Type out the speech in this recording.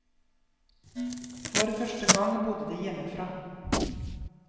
For første gang bodde de hjemmefra.